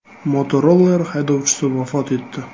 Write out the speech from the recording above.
Motoroller haydovchisi vafot etdi.